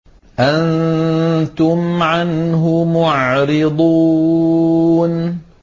أَنتُمْ عَنْهُ مُعْرِضُونَ